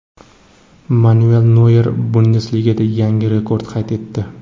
Manuel Noyer Bundesligada yana rekord qayd etdi.